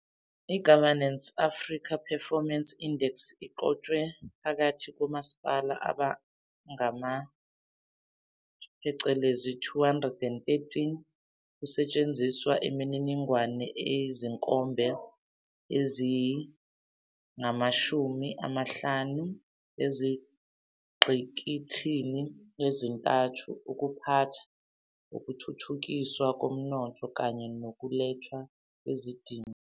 I-Governance Africa Performance Index iqhutshwe phakathi komasipala abangama-213, kusetshenziswa imininingwane yezinkomba eziyi-15 ezingqikithini ezintathu- ukuphatha, ukuthuthukiswa komnotho kanye nokulethwa kwezidingo.